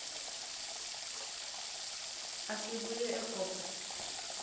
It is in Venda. a si vhuye e kope